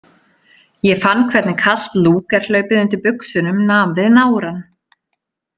Ég fann hvernig kalt Lúger- hlaupið undir buxunum nam við nárann.